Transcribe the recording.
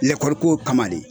Lɛkɔli ko kama le